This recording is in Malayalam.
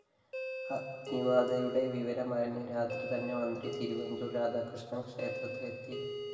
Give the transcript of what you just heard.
അഗ്നിബാധയുടെ വിവരമറിഞ്ഞ് രാത്രി തന്നെ മന്ത്രി തിരുവഞ്ചൂര്‍ രാധാകൃഷ്ണന്‍ ക്ഷേത്രത്തിലെത്തി